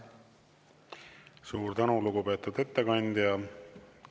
Suur tänu, lugupeetud ettekandja!